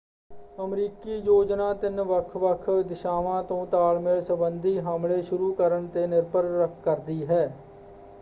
ਅਮਰੀਕੀ ਯੋਜਨਾ ਤਿੰਨ ਵੱਖ-ਵੱਖ ਦਿਸ਼ਾਵਾਂ ਤੋਂ ਤਾਲਮੇਲ ਸੰਬੰਧੀ ਹਮਲੇ ਸ਼ੁਰੂ ਕਰਨ 'ਤੇ ਨਿਰਭਰ ਕਰਦੀ ਹੈ।